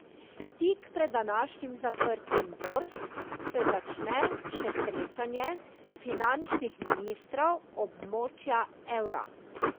Tik pred današnjim zaprtjem borz se začne še srečanje finančnih ministrov območja evra.